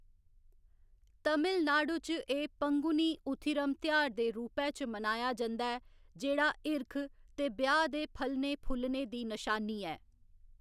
तमिलनाडु च एह्‌‌ पंगुनी उथिरम तेहार दे रूपै च मनाया जंदा ऐ जेह्‌‌ड़ा हिरख ते ब्याह्‌‌ दे फलने फुल्लने दी नशानी ऐ।